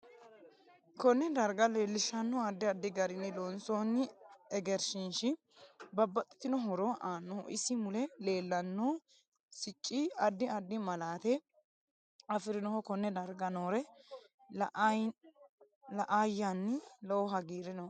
KOnne darga leelishanno addi addi garinni loonsooni egrnshiihishi babaxitino horo aannoho isi mule leelanno sicci. addi addi malaate afirinoho konne darga noore la; ayanni lowo hagiiri nooe